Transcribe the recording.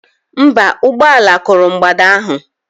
Mba, ụgbọ ala kụrụ mgbada ahụ.